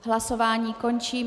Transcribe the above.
Hlasování končím.